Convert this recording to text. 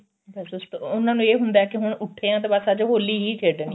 ਅੱਛਾ ਅੱਛਾ ਉਹਨਾਂ ਨੂੰ ਇਹ ਹੁੰਦਾ ਕਿ ਹੁਣ ਉੱਠੇ ਹਾਂ ਤਾਂ ਬਸ ਅੱਜ ਹੋਲੀ ਹੀ ਖੇਡਣੀ ਏ